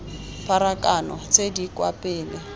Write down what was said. pharakano tse di kwa pele